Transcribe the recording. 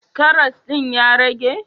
Karas din ya rage?